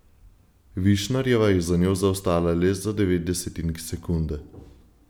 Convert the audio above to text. Višnarjeva je za njo zaostala le za devet desetink sekunde.